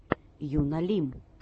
юна лим